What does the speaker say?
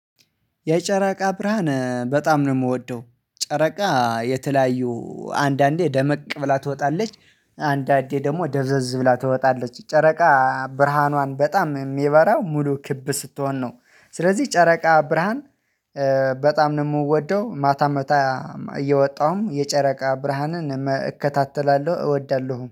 የጨረቃ ብርሃን በጣም ነው የምወደው ጨረቃ የተለያዩ አንዳንዴ ደመቅ ብላ ትወጣለች አንዳንዴ ደግሞ ደብዘዝ ብላ ትወጣለች ጨረቃ ብርሃኗን በጣም የሚበራ ሙሉ ክብ ስትሆን ነው። ስለዚህ ጨረቃ ብርሃን በጣም ነው የምወደው ማታም በጣም እየወጣሁም የጨረቃ ብርሃንን እከታተላለሁ እወዳለሁ